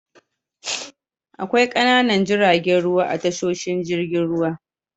Akwai ƙananan jiragen ruwa a tashoshin jirgin ruwa.